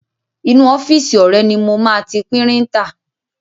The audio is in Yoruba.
Inú ọ́fíìsì ọ̀rẹ́ ni mo máa ti píríńtà.